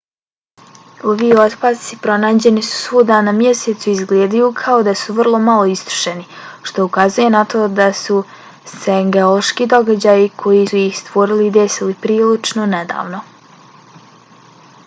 ovi otpaci pronađeni su svuda na mjesecu i izgledaju kao da su vrlo malo istrošeni što ukazuje na to da su se geološki događaji koji su ih stvorili desili prilično nedavno